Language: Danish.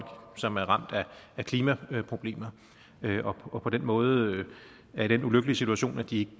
som er ramt af klimaproblemer og på den måde er i den ulykkelige situation at de